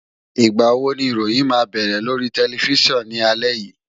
Ìgbà wo ni ìròyìn máa bẹ̀rẹ̀ lórí tẹlifísàn ní alẹ́ yìí?